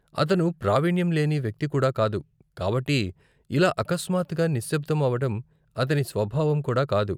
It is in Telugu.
అతను ప్రావిణ్యం లేని వ్యక్తి కూడా కాదు, కాబట్టి, ఇలా అకస్మాత్తుగా నిశబ్దం అవ్వడం అతని స్వభావం కూడా కాదు.